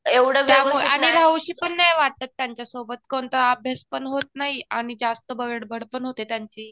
आणि राहुशी पण नाही वाटत त्यांच्या सोबत. कोणता अभ्यास पण होत नाही. आणि जास्त बडबड पण होते त्यांची.